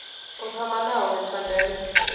u thoma nahone tsha ndeme